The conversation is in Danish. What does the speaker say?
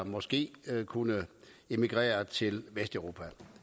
måske kunne emigrere til vesteuropa